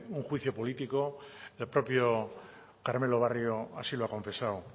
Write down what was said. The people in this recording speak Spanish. un juicio político el propio carmelo barrio así lo ha confesado